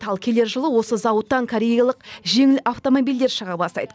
ал келер жылы осы зауыттан кореялық жеңіл автомобильдер шыға бастайды